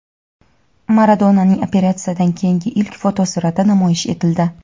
Maradonaning operatsiyadan keyingi ilk fotosurati namoyish etildi.